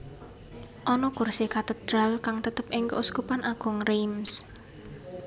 Ana kursi katedral kang tetep ing Keuskupan Agung Reims